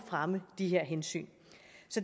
fremme de her hensyn